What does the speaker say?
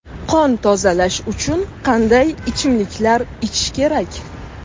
Qon tozalash uchun qanday ichimliklar ichish kerak?